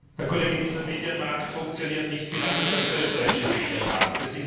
Herr Kollege, dieser Medienmarkt funktioniert nicht anders als der österreichische Medienmarkt.